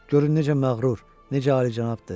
görün necə məğrur, necə alicənabdır!